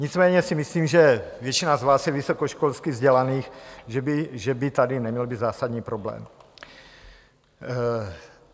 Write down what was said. Nicméně si myslím, že většina z vás je vysokoškolsky vzdělaná, že by tady neměl být zásadní problém.